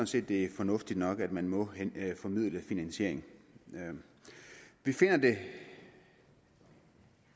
set det er fornuftigt nok at man må formidle finansieringen vi finder det